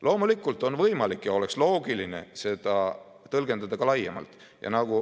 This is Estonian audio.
Loomulikult on võimalik ja oleks loogiline seda tõlgendada ka laiemalt.